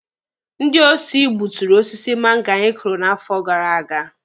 Ndị osi gbuturu osisi mango anyị kụrụ n'afọ gara aga.